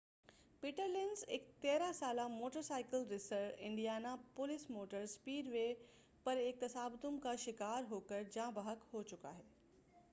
پیٹرلینز ایک 13 سالہ motorcycle racer Indianapolis motor speedway پر ایک تصادم کا شکار ہوکر جاں بحق ہوچُکا ہے